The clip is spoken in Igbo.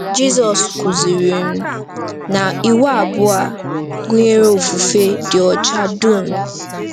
Jizọs kwuziri um na iwu abụọ a gụnyere ofufe dị ọcha dum.